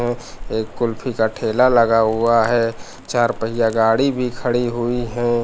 अह एक कुल्फी का ठेला लगा हुआ है चार पहिया गाड़ी भी खड़ी हुई हैं।